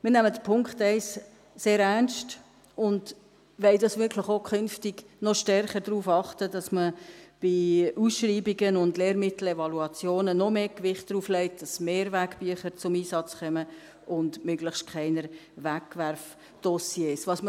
Wir nehmen den Punkt 1 sehr ernst und wollen künftig wirklich auch noch stärker darauf achten, dass man bei Ausschreibungen und Lehrmittel-Evaluationen noch mehr Gewicht darauf legt, dass Mehrwegbücher und möglichst keine Wegwerfdossiers zum Einsatz kommen.